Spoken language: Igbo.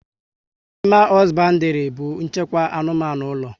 Animal hosbandiri bu nchịkwa anụmanụ ụlọ